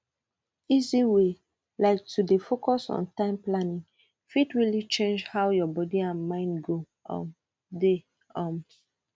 easy way like to dey focus on time planning fit really change how your body and mind go um dey um